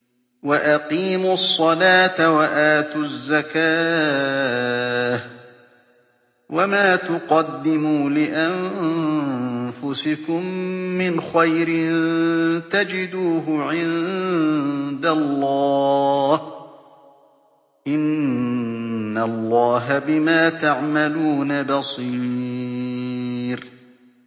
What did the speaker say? وَأَقِيمُوا الصَّلَاةَ وَآتُوا الزَّكَاةَ ۚ وَمَا تُقَدِّمُوا لِأَنفُسِكُم مِّنْ خَيْرٍ تَجِدُوهُ عِندَ اللَّهِ ۗ إِنَّ اللَّهَ بِمَا تَعْمَلُونَ بَصِيرٌ